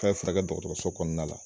K'a be furakɛ dɔgɔtɔrɔso kɔnɔna la